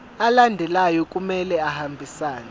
alandelayo kumele ahambisane